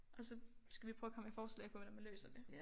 Og så skal vi prøve at komme med forslag på hvordan man løser det